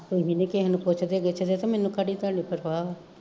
ਤੁਸੀਂ ਨੀ ਕਿਸੇ ਨੂੰ ਪੁੱਛਦੇ ਗਿੱਛਦੇ ਕਿ ਮੈਨੂੰ ਕਾੜੀ ਤੁਹਾਡੀ ਪਰਵਾਹ ਵਾ